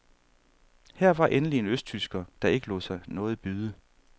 Her var endelig en østtysker, der ikke lod sig noget byde.